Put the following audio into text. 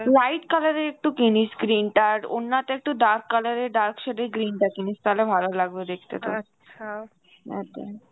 light color এর একটু কিনিস green টা আর ওড়না টা একটু dark color এর dark shade এর green টা কিনিস তালে ভালো লাগবে দেখতে তোকে একদম.